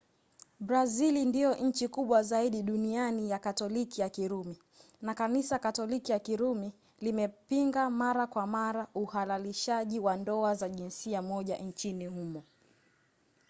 brazili ndiyo nchi kubwa zaidi duniani ya katoliki ya kirumi na kanisa katoliki ya kirumi limepinga mara kwa mara uhalalishaji wa ndoa za jinsia moja nchini humo